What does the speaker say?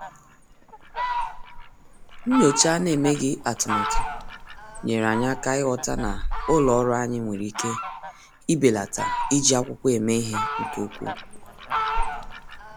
Nyòchá à nà-èméghị́ atụ́matụ nyèèrè anyị́ áká ị́ghọ́tà na ụ́lọ́ ọ́rụ́ anyị́ nwere ike ibèlàtá iji ákwụ́kwọ́ èmé ìhè nke ukwuu.